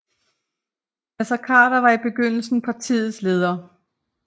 Naser Khader var fra begyndelsen partiets leder